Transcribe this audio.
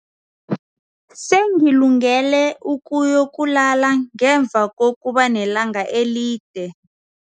Sengilungele ukuyokulala ngemva kokuba nelanga elide.